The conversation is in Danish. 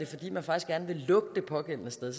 fordi man faktisk gerne vil lukke det pågældende sted